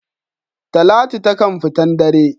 Talatu taƙan fitan dare.